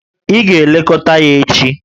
Ị ga-elekọta ya echi!